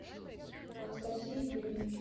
анастасии юрьевны